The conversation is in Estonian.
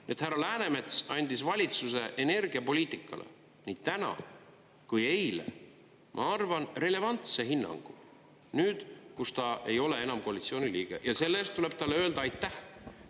Nüüd härra Läänemets andis valitsuse energiapoliitikale nii täna kui eile, ma arvan, relevantse hinnangu – nüüd, kus ta ei ole enam koalitsiooni liige –, ja selle eest tuleb talle öelda aitäh.